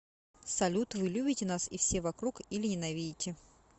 салют вы любите нас и все вокруг или ненавидите